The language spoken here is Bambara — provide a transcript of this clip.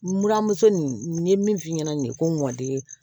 N buramuso nin n ye min f'i ɲɛna nin ye ko n ŋ'i ye